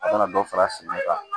A kana dɔ fara suma kan